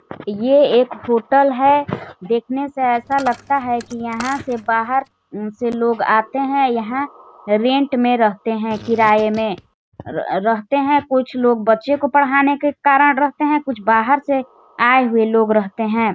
ये एक होटल है देख ने से ऐसा लगता है की यहाँ से बाहर से लोग आते है यहाँ रेंट में रहते है किराये में र रहते है कुछ लोग बच्चे को पढ़ाने के कारण रहते है कुछ बहार से आए हुए लोग रहते हैं।